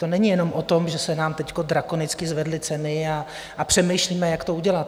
To není jenom o tom, že se nám teď drakonicky zvedly ceny a přemýšlíme, jak to udělat.